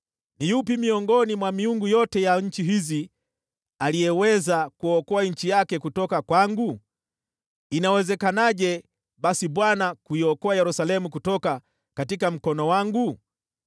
Ni yupi miongoni mwa miungu yote ya nchi hizi ameweza kuokoa nchi yake mkononi mwangu? Inawezekanaje basi Bwana aiokoe Yerusalemu mkononi mwangu?”